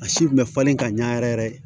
A si kun bɛ falen ka ɲa yɛrɛ yɛrɛ